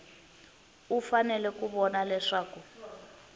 u fanele ku vona leswaku